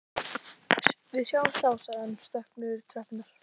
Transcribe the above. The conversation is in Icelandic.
Við sjáumst þá sagði hann og stökk niður tröppurnar.